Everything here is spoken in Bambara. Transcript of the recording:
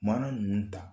Mana ninnu ta